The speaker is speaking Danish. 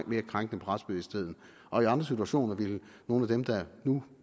virke krænkende på retsbevidstheden og i andre situationer ville nogle af dem der nu